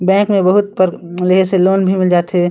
bank में बहुत पर लेहे से लोन भी मिल जात हे ।--